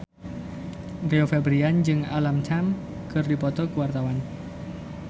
Rio Febrian jeung Alam Tam keur dipoto ku wartawan